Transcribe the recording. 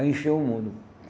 Aí encheu o mundo.